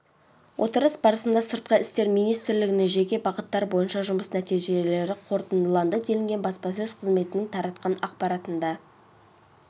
отырыс барысында сыртқы істер министрлігінің жеке бағыттар бойынша жұмыс нәтижелері қорытындыланды делінген баспасөз қызметінің таратқан ақпаратында